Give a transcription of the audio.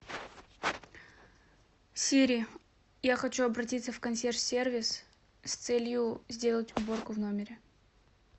сири я хочу обратиться в консьерж сервис с целью сделать уборку в номере